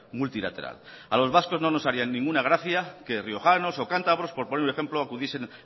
multilateral a los vascos no nos haría ninguna gracia que riojanos o cantabros por poner un ejemplo acudiesen